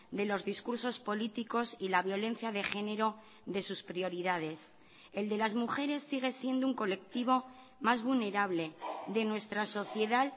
de los discursos políticos y la violencia de género de sus prioridades el de las mujeres sigue siendo un colectivo más vulnerable de nuestra sociedad